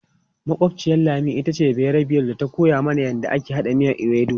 Makwabciyar Lami ita ce bayarbiyar da ta koya mana yadda ake haɗa miyan ewedu.